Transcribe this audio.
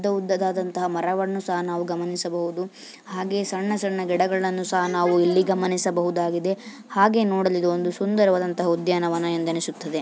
ಉದ್ದ ಉದ್ದಾದಂತಹ ಮರವನ್ನು ನಾವು ಗಮನಿಸಬಹುದು ಹಾಗೆ ಸಣ್ಣ ಸಣ್ಣ ಗಿಡಗಳನ್ನು ಸಹ ನಾವು ಇಲ್ಲಿ ಗಮನಿಸಬಹುದಾಗಿದೆ ಹಾಗೆ ನೋಡಲು ಇದು ಒಂದು ಸುಂದರವಾದಂತಹ ಉದ್ಯಾನವನ ಎಂದೆಂದಿಸುತ್ತದೆ.